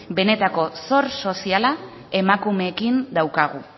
benetako zor soziala emakumeekin daukagu